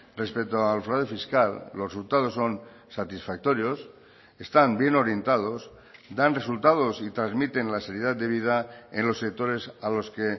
respecto al fraude fiscal los resultados son satisfactorios están bien orientados dan resultados y transmiten la seriedad debida en los sectores a los que